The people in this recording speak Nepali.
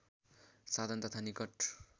साधन तथा निकट